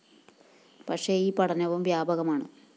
പക്ഷേ ഈ പഠനവും വ്യാപകമാണ്